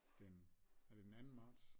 Den er det den anden marts